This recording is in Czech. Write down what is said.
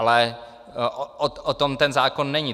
Ale o tom ten zákon není.